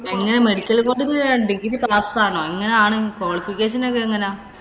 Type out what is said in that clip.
എങ്ങനെ medical coding ഇനു degree pass ആവണോ? അങ്ങനെയാണെങ്കി qualification ഒക്കെ എങ്ങനാ?